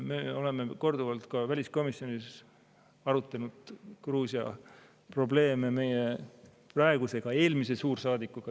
Me oleme korduvalt ka väliskomisjonis arutanud Gruusia probleeme meie praeguse ja ka eelmise suursaadikuga.